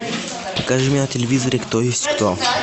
покажи мне на телевизоре кто есть кто